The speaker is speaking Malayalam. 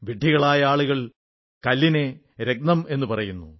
വിഡ്ഢികളായ ആളുകൾ കല്ലിനെ രത്നമെന്നു പറയുന്നു